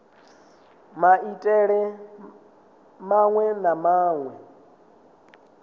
na maitele maṅwe na maṅwe